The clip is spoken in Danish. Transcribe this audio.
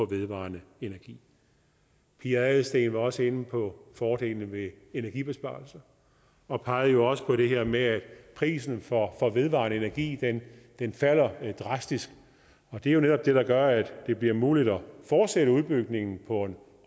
vedvarende energi pia adelsteen var også inde på fordelene ved energibesparelser og pegede også på det her med at prisen for vedvarende energi falder drastisk det er jo netop det der gør at det bliver muligt at fortsætte udbygningen på en